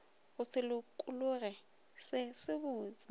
go se lokologe se sebotse